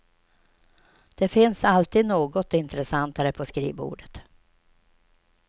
Det finns alltid något intressantare på skrivbordet.